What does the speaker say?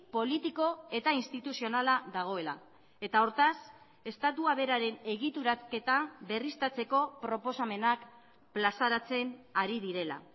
politiko eta instituzionala dagoela eta hortaz estatua beraren egituraketa berriztatzeko proposamenak plazaratzen ari direla